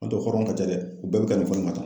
N;o tɛ hɔrɔn ka ca dɛ u bɛɛ bɛ ka nin fɔ nin ma tan